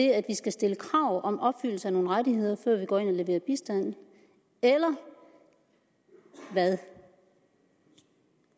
at vi skal stille krav om opfyldelse af nogle rettigheder før vi går ind og leverer bistand eller hvad